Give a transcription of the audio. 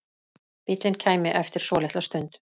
Bíllinn kæmi eftir svolitla stund.